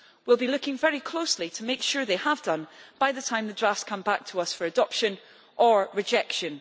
We will be looking very closely to make sure that it has done so by the time the draft come back to us for adoption or rejection.